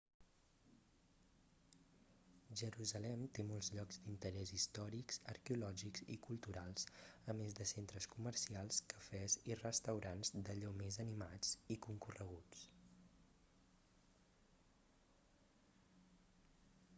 jerusalem té molts llocs d'interès històrics arqueològics i culturals a més de centres comercials cafès i restaurants d'allò més animats i concorreguts